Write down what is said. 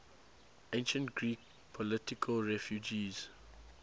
ancient greek political refugees